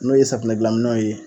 N'o ye safinɛ gilan minɛw ye